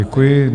Děkuji.